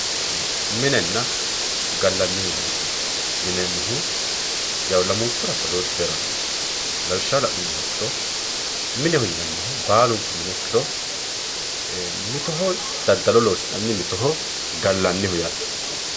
minenna gallanni mineeti yinannihu yawu lamunkura badooshshu heerannosi lawishshaho la'nummoha ikkiro mineho yinannihu baalunku mine ikkiro ee mittoho daddalo loosi'nanni mittoho gallanniho yaate.